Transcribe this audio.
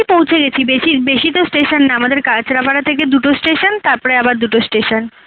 পৌছে গেছি বেশি বেশি তো station না আমাদের কাচড়াপাড়া থেকে দুটো station তারপরে আবার দুটো station